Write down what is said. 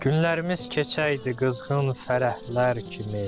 Günlərimiz keçəydi qızğın fərəhlər kimi.